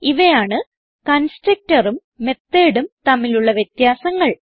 ഇവയാണ് constructorഉം methodഉം തമ്മിലുള്ള വ്യത്യാസങ്ങൾ